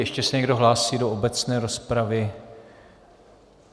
Ještě se někdo hlásí do obecné rozpravy?